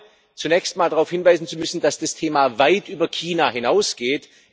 Ich glaube, zunächst einmal darauf hinweisen zu müssen, dass das Thema weit über China hinausgeht.